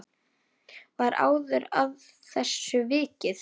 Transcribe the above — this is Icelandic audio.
Var áður að þessu vikið.